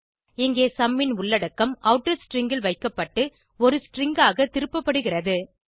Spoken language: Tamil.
இங்கே சும் ன் உள்ளடக்கம் ஆட்டர் ஸ்ட்ரிங் ல் வைக்கப்பட்டு ஒரு ஸ்ட்ரிங் ஆக திருப்பப்படுகிறது